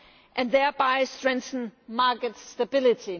and thereby strengthen market stability.